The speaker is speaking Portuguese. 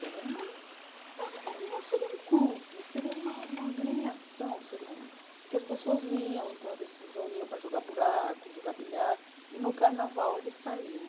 Seria uma ah ah seria um clube, seria uma gremiação, que as pessoas iam, se reuniam para jogar buraco, jogar bilhar, e no carnaval eles saíam.